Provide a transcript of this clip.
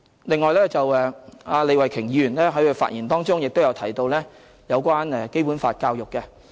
另外，李慧琼議員在發言中亦提到有關《基本法》教育。